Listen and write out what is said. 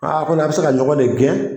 Aa ko n'an bɛ se ka ɲɔgɔn de gɛn.